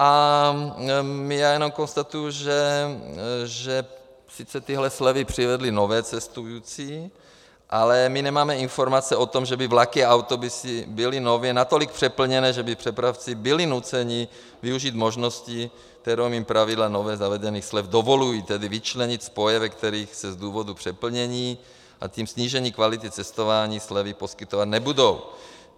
A já jenom konstatuji, že sice tyhle slevy přivedly nové cestující, ale my nemáme informace o tom, že by vlaky a autobusy byly nově natolik přeplněné, že by přepravci byli nuceni využít možnosti, kterou jim pravidla nově zavedených slev dovolují, tedy vyčlenit spoje, ve kterých se z důvodu přeplnění, a tím snížením kvality cestování slevy poskytovat nebudou.